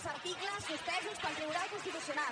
els articles suspesos pel tribunal constitucional